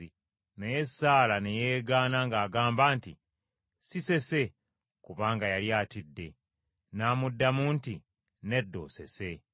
Naye Saala ne yeegaana ng’agamba nti, “Si sese,” kubanga yali atidde. N’amuddamu nti, “Nedda osese.”